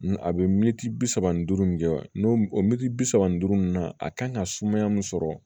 A bɛ miniti bi saba ni duuru min kɛ n'o o mɛtiri bi saba ni duuru in na a kan ka sumaya min sɔrɔ